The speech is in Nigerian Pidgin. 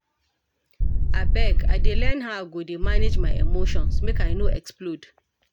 Abeg, I dey learn how I go dey manage my emotions, make I no explode.